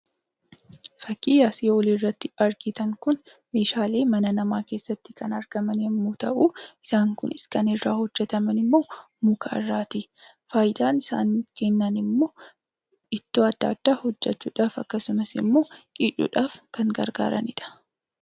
Fakkii asii olitti argitan kun meeshaalee mana namaa keessatti kan argaman yommuu ta'u, isaan kunis kan irraa hojjataman immoo muka irraati. Fayidaan isaan kennan immoo ittoo adda addaa hojjachuudhaaf akkasumas immoo qicuudhaaf kan gargaaranidha.